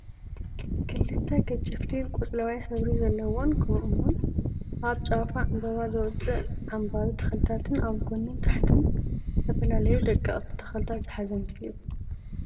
ክልተ ገጀፍቲ ቆፅላዎይ ሕብሪ ዘለዎን ከምኡ እውን ኣብ ጫፋ ዕምበባ ዘውፅእ ዓምባቢ ተኽሊታትን ኣብ ጎኒን ታሕቲን ዝተፈላለዩ ደቀቅቲ ተኽልታት ዝሓዘ ምስሊ እዩ፡፡